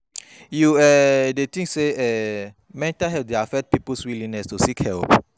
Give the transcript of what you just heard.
You um dey think say um mental health dey affect people's willingness to seek help?